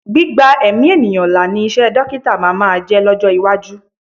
Gbígba ẹ̀mí ènìyàn là ni iṣẹ́ dọ́kítà máa máa jẹ́ lọ́jọ́ iwájú.